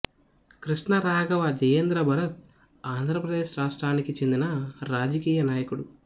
కృష్ణ రాఘవ జయేంద్ర భరత్ ఆంద్రప్రదేశ్ రాష్ట్రానికి చెందిన రాజకీయ నాయకుడు